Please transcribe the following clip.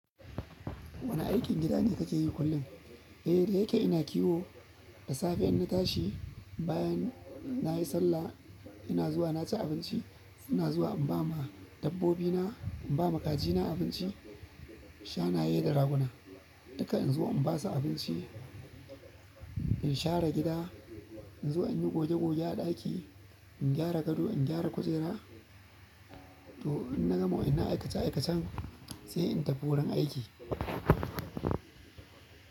Wane aikin gida ne kake yi kullum? Eh, da yake ina kiwo, da safe in na tashi bayan na yi sallah ina zuwa na ci abinci, ina zuwa in ba ma dabbobina, in ba ma kajina abinci, shanayye da raguna. Duka inzo in basu abinci in share gida inzo inyi goge goge a ɗaki in gyara gado in gyara kujera to in na gama wanan aikace aikacen sai in tafi wurin aiki.